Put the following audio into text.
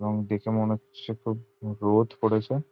এবং দেখে মনে হচ্ছে খুব রোদ করেছে।